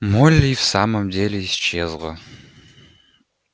молли и в самом деле исчезла